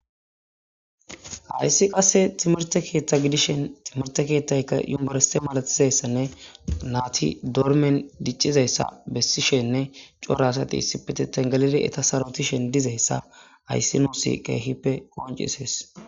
Hayssi qasse timirte keeththa gidishen timirte keettayka yumorese malatizayssanne naati dormen diccizayssa bessishenne corasati issipiteten galile eta sarotishen dizayssa hayssi nuusi qeehippe qoncisees.